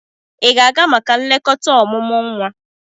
Ị ga-aga maka nlekọta ọmụmụ nwa?